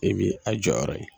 E bɛ a jɔyɔrɔ ye.